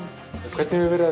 hvernig hefur verið